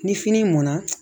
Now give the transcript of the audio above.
Ni fini mɔnna